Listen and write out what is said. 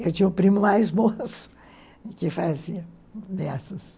Eu tinha o primo mais moço que fazia dessas.